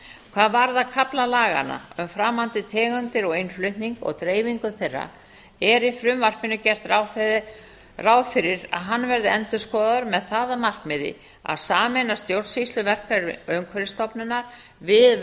hvað varðar kafla laganna um framandi tegundir og innflutning og dreifingu þeirra er í frumvarpinu gert ráð fyrir að hann verði endurskoðaður með það að markmiði að sameina stjórnsýsluverk umhverfisstofnunar við